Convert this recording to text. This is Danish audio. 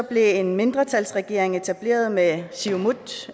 blev en mindretalsregering etableret med siumut